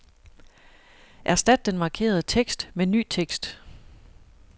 Erstat den markerede tekst med ny tekst.